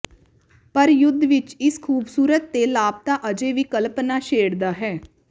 ਪਰ ਯੁੱਧ ਵਿਚ ਇਸ ਖੂਬਸੂਰਤ ਦੇ ਲਾਪਤਾ ਅਜੇ ਵੀ ਕਲਪਨਾ ਛੇੜਦਾ ਹੈ